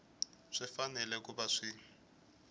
swi fanele ku va swi